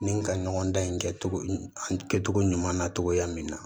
Ni ka ɲɔgɔn dan in kɛ togo ɲuman na togoya min na